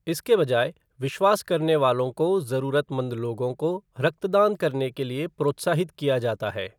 इसके बजाय विश्वास करने वालों को जरूरतमंद लोगों को रक्तदान करने के लिए प्रोत्साहित किया जाता है।